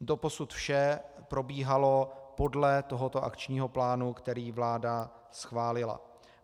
Doposud vše probíhalo podle tohoto akčního plánu, který vláda schválila.